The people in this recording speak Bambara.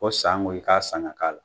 Ko saŋo i k'a san ŋ'a k'a la.